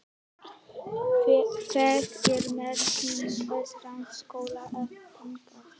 Það er merkilegt rannsóknarefni hve kærar skrúðgöngur eru stórveldum.